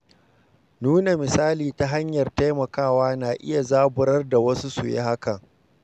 Nuna misali ta hanyar taimakawa na iya zaburar da wasu su yi haka.